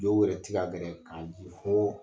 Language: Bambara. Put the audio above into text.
Dɔw yɛrɛ ti ka gɛrɛ k'a fɔ